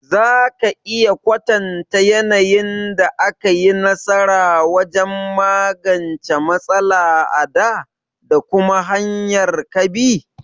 Za ka iya kwatanta yanayin da ka yi nasara wajen magance matsala a dā, da kuma hanyar ka bi?